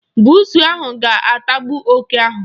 Buusu ahụ ga-atagbu oke ahụ.